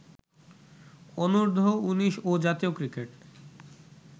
অনূর্ধ্ব-১৯ ও জাতীয় ক্রিকেট